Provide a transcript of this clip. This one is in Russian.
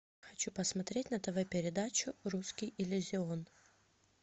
хочу посмотреть на тв передачу русский иллюзион